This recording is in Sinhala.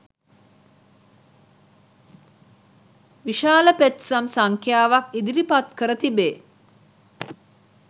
විශාල පෙත්සම් සංඛ්‍යාවක් ඉදිරිපත් කර තිබේ